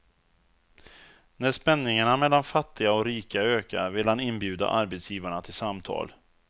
När spänningarna mellan fattiga och rika ökar vill han inbjuda arbetsgivarna till samtal.